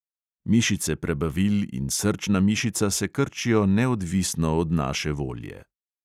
Mišice prebavil in srčna mišica se krčijo neodvisno od naše volje.